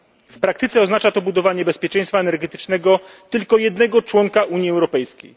W praktyce oznacza to budowanie bezpieczeństwa energetycznego tylko jednego członka Unii Europejskiej.